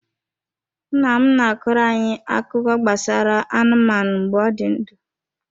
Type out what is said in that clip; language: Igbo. Nna m na-akọrọ anyị akụkọ gbasara anụmanụ mgbe ọ dị ndụ.